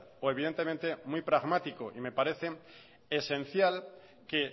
o evidentemente muy pragmático y me parece esencial que